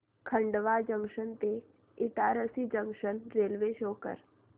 Khandwa junction ते Itarsi junction railway शो कर